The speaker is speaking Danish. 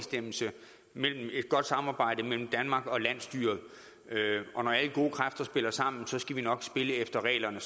et godt samarbejde mellem danmark og landsstyret og når alle gode kræfter spiller sammen skal vi nok spille efter reglerne